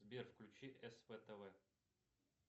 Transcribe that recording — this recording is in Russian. сбер включи сп тв